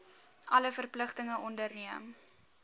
alle verpligtinge onderneem